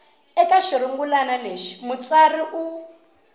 eka xirungulwana lexi mutsari u